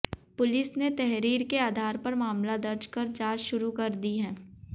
police ने तहरीर के अधार पर मामला दर्ज कर जांच शुरू कर दी है